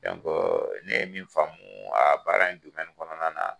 ne ye min faamu a baara in kɔnɔna na